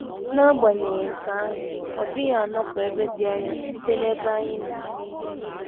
N’agbanyeghị nke ahụ, ọ dịghị anọpụ ebe dị anya site n’ebe anyị nọ.